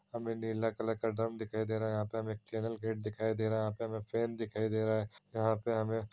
हमें नीला कलर का ड्रम दिखाई दे रहा है यहाँ पे हमें चैनल गेट दिखाई दे रहा है | यहाँ पे हमें फैन